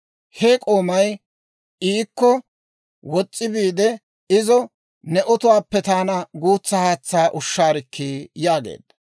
He k'oomay iikko wos's'i biide izo, «Ne otuwaappe taana guutsa haatsaa ushshaarikkii!» yaageedda.